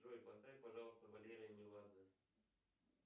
джой поставь пожалуйста валерия меладзе